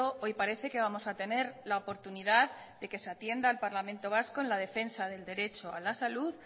hoy parece que vamos a tener la oportunidad de que se atienda al parlamento vasco en la defensa del derecho a la salud